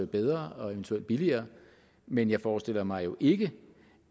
bedre og eventuelt billigere men jeg forestiller mig jo ikke